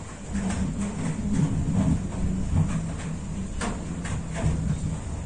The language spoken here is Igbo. Ma òlee ụzọ̀ anyị pụrụ isi mụtà ichè ọnụ anyị nchè?